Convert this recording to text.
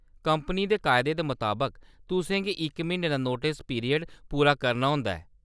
Company दे कायदें दे मताबक, तुसें गी इक म्हीने दा नोटस पीरियड पूरा करना होंदा ऐ।